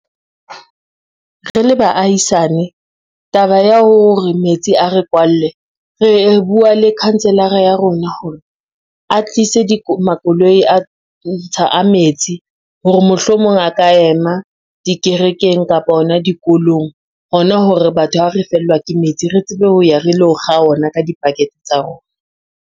Re le baahisane, taba ya hore metsi a re kwalle re bua le councilor-a ya rona hore a tlise makoloi a metsi, hore mohlomong a ka ema dikerekeng kapa hona dikolong. Ho na hore batho ha re fellwa ke metsi, re tsebe ho ya re lo kga ona ka di-bucket tsa rona.